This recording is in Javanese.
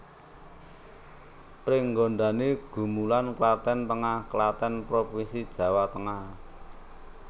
Pringgondani Gumulan Klaten Tengah Klaten provinsi Jawa Tengah